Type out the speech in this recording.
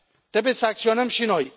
Trebuie să acționăm și noi.